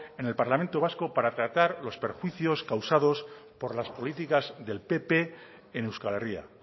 en el parlamento vasco para tratar los perjuicios causados por las políticas del pp en euskal herria